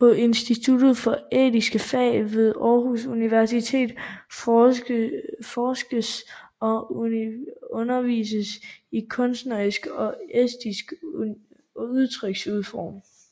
På Institut for Æstetiske Fag ved Aarhus Universitet forskes og undervises der i kunstneriske og æstetiske udtryksformer